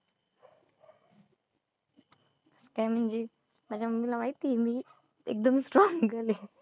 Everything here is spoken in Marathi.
काय म्हंजी माझ्या mummy ला माहितीये मी एकदम strong girl आहे.